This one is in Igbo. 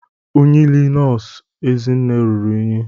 Uniile nọọsụ Ezinne ruru unyi.